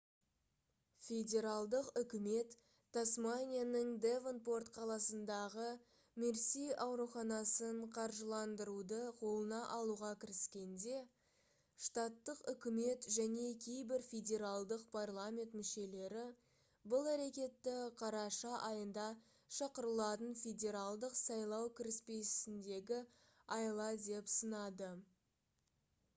федералдық үкімет тасманияның девонпорт қаласындағы мерси ауруханасын қаржыландыруды қолына алуға кіріскенде штаттық үкімет және кейбір федералдық парламент мүшелері бұл әрекетті қараша айында шақырылатын федералдық сайлау кіріспесіндегі айла деп сынады